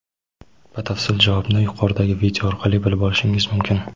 Batafsil javobni yuqoridagi video orqali bilib olishingiz mumkin.